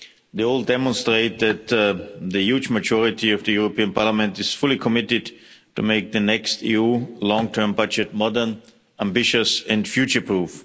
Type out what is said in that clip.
They all demonstrate that the huge majority of the European Parliament is fully committed to making the next EU long-term budget modern, ambitious and future-proof.